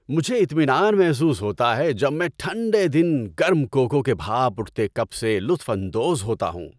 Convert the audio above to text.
مجھے اطمینان محسوس ہوتا ہے جب میں ٹھنڈے دن گرم کوکو کے بھاپ اٹھتے کپ سے لطف اندوز ہوتا ہوں۔